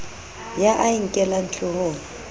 ya a a nkellang hloohong